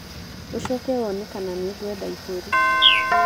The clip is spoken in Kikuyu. ũcoke wone kana nĩ ngwenda iburi.